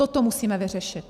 Toto musíme vyřešit.